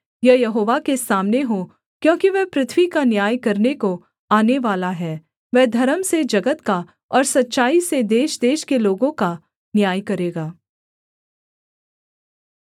यह यहोवा के सामने हो क्योंकि वह पृथ्वी का न्याय करने को आनेवाला है वह धर्म से जगत का और सच्चाई से देशदेश के लोगों का न्याय करेगा